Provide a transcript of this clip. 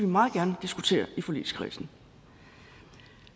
meget gerne diskutere i forligskredsen